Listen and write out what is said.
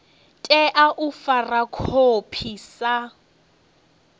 tea u fara khophi sa